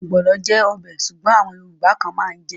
Ogbono jẹ́ ọbẹ̀ Ṣùgbọ́n àwọn yorùbá kan mán jè.